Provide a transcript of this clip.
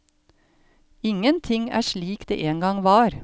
Ingenting er slik det en gang var.